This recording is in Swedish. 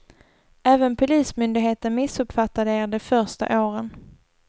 Även polismyndigheten missuppfattade er de första åren.